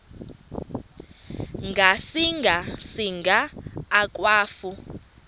ngasinga singa akwafu